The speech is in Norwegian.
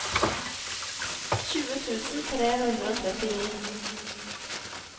tjue tusen tre hundre og trettini